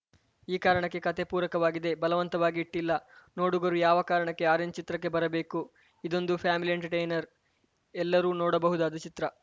ಈ ಕಾರಣಕ್ಕೆ ಕತೆ ಪೂರಕವಾಗಿದೆ ಬಲವಂತವಾಗಿ ಇಟ್ಟಿಲ್ಲ ನೋಡುಗರು ಯಾವ ಕಾರಣಕ್ಕೆ ಆರೆಂಜ್‌ ಚಿತ್ರಕ್ಕೆ ಬರಬೇಕು ಇದೊಂದು ಫ್ಯಾಮಿಲಿ ಎಂಟರ್‌ಟೈನರ್‌ ಎಲ್ಲರೂ ನೋಡಬಹುದಾದ ಚಿತ್ರ